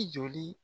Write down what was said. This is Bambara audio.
I joli